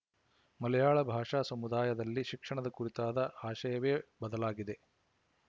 ಮಲಯಾಳ ಭಾಷಾ ಸಮುದಾಯದಲ್ಲಿ ಶಿಕ್ಷಣದ ಕುರಿತಾದ ಆಶಯವೇ ಬದಲಾಗಿದೆ